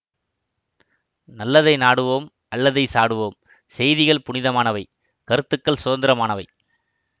நல்லதை நாடுவோம் அல்லதை சாடுவோம் செய்திகள் புனிதமானவை கருத்துக்கள் சுதந்திரமானவை